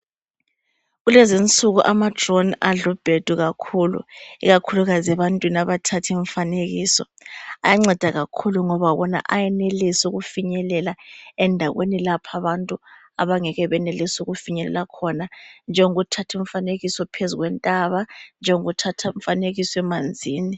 Kulezinsuku amadrone adlubhedu kakhulu, ikakhulukazi ebantwini abathath’ imfanekiso ayanceda kakhulu ngoba wona ayenelisa ukufinyelela endaweni lapha abantu abangeke benelise ukufinyelela khona njengokuthatha umfanekiso phezu kwentaba, njengokuthatha umfanekiso emanzini.